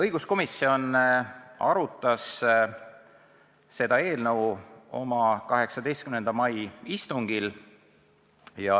Õiguskomisjon arutas seda eelnõu oma 18. mai istungil.